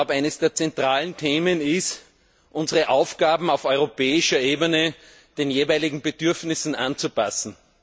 Eines der zentralen Themen ist, unsere Aufgaben auf europäischer Ebene den jeweiligen Bedürfnissen anzupassen.